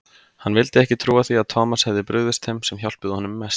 Hann vildi ekki trúa því að Thomas hefði brugðist þeim sem hjálpuðu honum mest.